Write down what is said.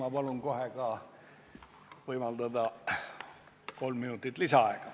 Ma palun kohe võimaldada ka kolm minutit lisaaega!